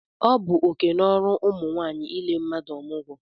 Ọ bụ oké na ọrụ ụmụ nwaanyị ile mmadụ ọmụgwọ